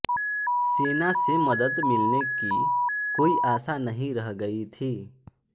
सेना से मदद मिलने की कोई आशा नहीं रह गई थी